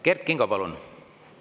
Kert Kingo, palun!